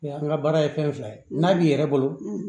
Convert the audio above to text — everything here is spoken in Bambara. an ka baara ye fɛn fila ye n'a b'i yɛrɛ bolo